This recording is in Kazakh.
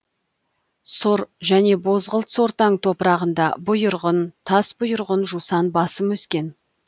сұр және бозғылт сортаң топырағында бұйырғын тасбұйырғын жусан басым өскен